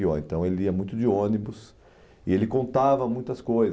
Guiou Então, ele ia muito de ônibus e ele contava muitas coisas.